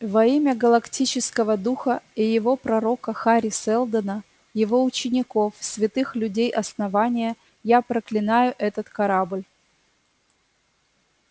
во имя галактического духа и его пророка хари сэлдона его учеников святых людей основания я проклинаю этот корабль